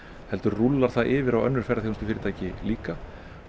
heldur rúllar það yfir á önnur ferðaþjónustufyrirtæki líka